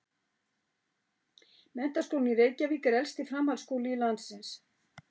Menntaskólinn í Reykjavík er elsti framhaldsskóli landsins.